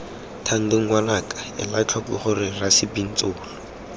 thando ngwanaka elatlhoko gore rasebintsolo